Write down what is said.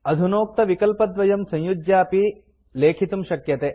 अधुनोक्तविकल्पद्वयं संयुज्यापि लेखितुं शक्यते